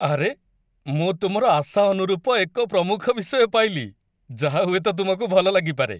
ଆରେ, ମୁଁ ତୁମର ଆଶା ଅନୁରୂପ ଏକ ପ୍ରମୁଖ ବିଷୟ ପାଇଲି ଯାହା ହୁଏତ ତୁମକୁ ଭଲ ଲାଗିପାରେ।